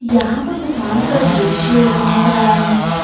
यहां पर दुकान का दृश्य दिख रहा है।